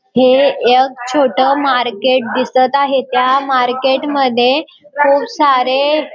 हे यक छोट मार्केट दिसत आहे त्या मार्केट मध्ये खूप सारे --